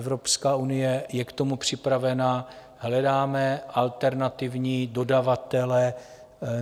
Evropská unie je k tomu připravena, hledáme alternativní dodavatele.